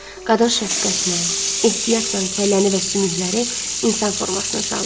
Qadın şəfqətlə, ehtiyatla kəlləni və sümükləri insan formasına saldı.